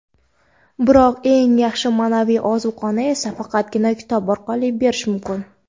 biroq eng yaxshi ma’naviy ozuqani esa faqatgina kitob orqali berish mumkin.